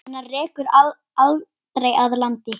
Hana rekur aldrei að landi.